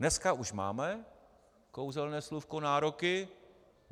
Dneska už máme kouzelné slůvko "nároky".